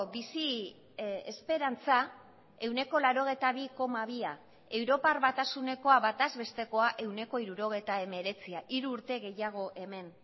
bizi esperantza ehuneko laurogeita bi koma bia europar batasunekoa bataz bestekoa ehuneko hirurogeita hemeretzia hiru urte gehiago hemen